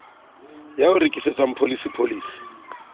ya o rekisetsang pholisi pholisi